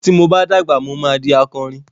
Ti mo bá dàgbà, mo ma di akorin.